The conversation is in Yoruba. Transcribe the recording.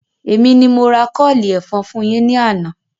Èmi ni mo ra kọ́ọ̀lì ẹ̀fọn fún yín ní àná